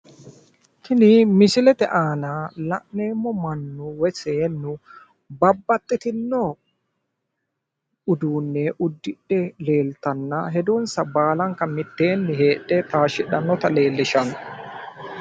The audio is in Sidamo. tini misilete aana la'neemmo mani woy seennu babbaxxino uduunne uddidhe heedhanna hedonsa baalanta mitteenni taashshidhannota leellishanno